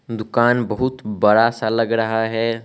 दुकान बहुत बड़ा सा लग रहा है।